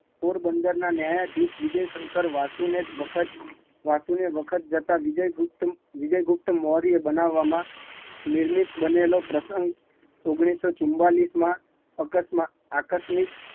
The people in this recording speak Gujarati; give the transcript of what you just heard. પોરબંદર માં ન્યાયધીશ વિજયશંકર વાસુ એ વખત જતા વિજયગુપ્તમૌર્ય બનાવ માં નિયનિત બનેલો પ્રસંગ ઓગણીસો ચુમાંલીસ માં આકસ્મિક